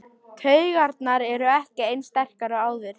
Taugarnar eru ekki eins sterkar og áður.